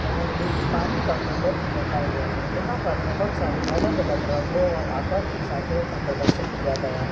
और एक पानी का कूलर भी रखा हुआ है यहां पर बहोत सारे अलग अलग रंगों और आकर की साइकिलों का प्रदर्शन किया गया है।